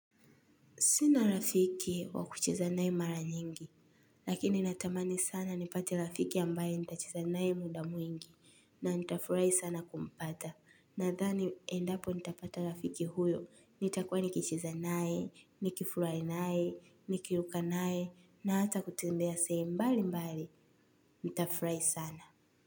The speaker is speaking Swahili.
Sina rafiki wa kucheza na yeye mara nyingi, lakini natamani sana nipate rafiki ambaye nitacheza naye muda mwingi na nitafurahi sana kumpata. Nadhani endapo nitapata rafiki huyo nitakua nikicheza naye, nikifurahi naye, nikiruka naye na hata kutembea sehemu mbali mbali. Nitafurahi sana.